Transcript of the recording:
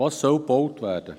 Was soll gebaut werden?